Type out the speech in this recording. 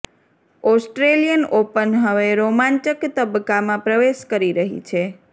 Australian Open હવે રોમાંચક તબક્કામાં પ્રવેશ કરી રહી છે